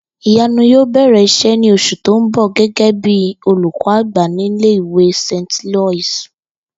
Ìyanu yóò bè̩rè̩ is̩é̩ ní os̩ù tó ń bò̩ gé̩gé̩ bí olùkó̩ àgbà nílé ìwé St Loius